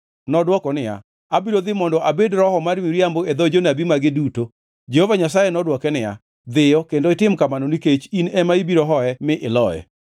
Nodwoko niya, “ ‘Abiro dhi mondo abed roho mar miriambo e dho jonabi mage duto.’ ” Jehova Nyasaye nodwoke niya, “ ‘Dhiyo kendo itim kamano nikech in ema ibiro hoye mi iloye.’